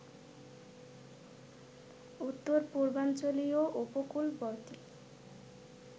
উত্তর পূর্বাঞ্চলীয় উপকূলবর্তী